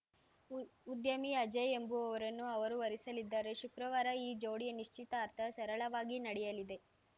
ಉಉದ್ಯಮಿ ಅಜಯ್‌ ಎಂಬುವವರನ್ನು ಅವರು ವರಿಸಲಿದ್ದಾರೆ ಶುಕ್ರವಾರ ಈ ಜೋಡಿಯ ನಿಶ್ಚಿತಾರ್ಥ ಸರಳವಾಗಿ ನಡೆಯಲಿದೆ